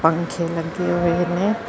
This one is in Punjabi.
ਪਿਛੇ ਲਗੇ ਹੋਏ ਨੇ।